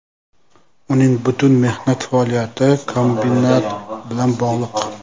Uning butun mehnat faoliyati kombinat bilan bog‘liq.